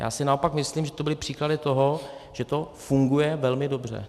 Já si naopak myslím, že to byly příklady toho, že to funguje velmi dobře.